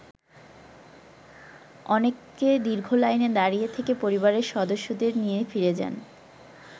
অনেকে দীর্ঘ লাইনে দাঁড়িয়ে থেকে পরিবারের সদস্যদের নিয়ে ফিরে যান।